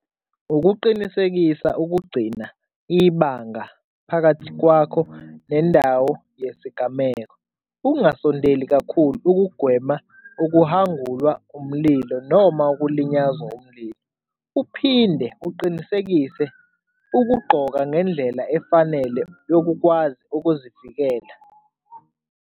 Ukuqinisekisa ukugcina ibanga phakathi kwakho nendawo yesigameko. Ungasondeli kakhulu, ukugwema okuhwangulwa umlilo noma ukulinyazwa umlilo. Uphinde uqinisekise ukugqoka ngendlela efanele yokukwazi ukuzivikela.